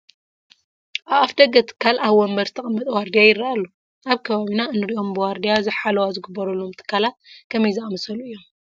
ኣብ ኣፍ ደገ ትካል ኣብ ወንበር ዝተቐመጠ ዋርድያ ይርአ ኣሎ፡፡ ኣብ ከባቢና እንሪኦም ብዋርዲያ ሓለዋ ዝግበረሎም ትካላት ከመይ ዝኣምሰሉ እዮም?